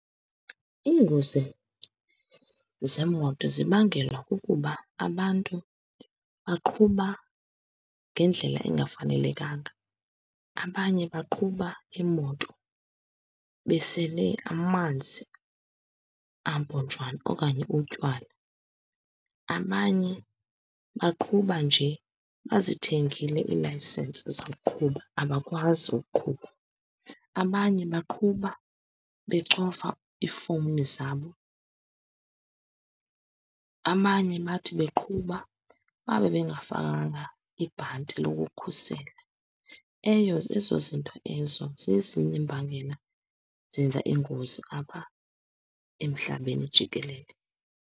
Iingozi zeemoto zibangelwa kukuba abantu baqhuba ngendlela engafanelekanga. Abanye baqhuba iimoto besele amanzi ampontshwano okanye utywala, abanye baqhuba nje bazithengile iilayisensi zokuqhuba, abakwazi ukuqhuba, abanye baqhuba becofa iifowuni zabo, abanye bathi beqhuba babe bangafakanga ibhanti lokukhusela. Eyo, ezo zinto ezo zezinye iimbangela zenza ingozi apha emhlabeni jikelele.